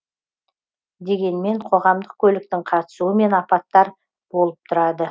дегенмен қоғамдық көліктің қатысуымен апаттар болып тұрады